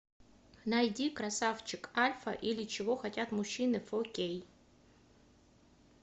найди красавчик альфа или чего хотят мужчины фо кей